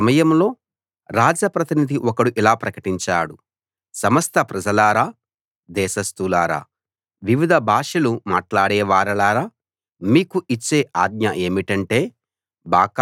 ఆ సమయంలో రాజ ప్రతినిధి ఒకడు ఇలా ప్రకటించాడు సమస్త ప్రజలారా దేశస్థులారా వివిధ భాషలు మాట్లాడేవారలారా మీకు ఇచ్చే ఆజ్ఞ ఏమిటంటే